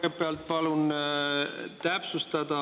Kõigepealt palun täpsustada.